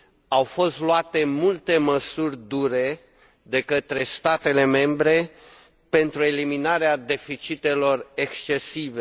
Au fost luate multe măsuri dure de către statele membre pentru eliminarea deficitelor excesive.